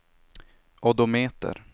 odometer